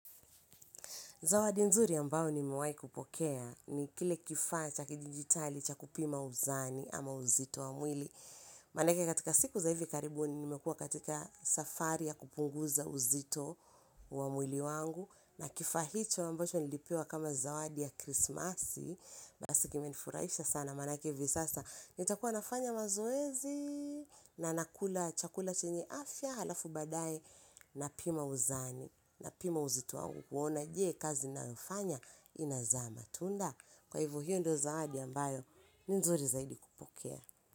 Zawadi nzuri ambayo nimewahi kupokea ni kile kifaa cha kidijitali cha kupima uzani ama uzito wa mwili. Manake katika siku za hivi karibuni nimekua katika safari ya kupunguza uzito wa mwili wangu. Na kifaa hicho ambacho nilipewa kama zawadi ya krismasi, basi kimenifurahisha sana manake hivi sasa. Nitakua nafanya mazoezi na nakula chakula chenye afya halafu baadaye napima uzani, napima uzito wangu kuona je kazi ninayofanya inazama. Tunda kwa hivo hiyo ndiyo zawadi ambayo ni nzuri zaidi kupokea.